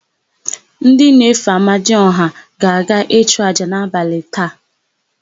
Ndị na-efe amadiọha ga-aga ịchụ àjà n'abalị taa.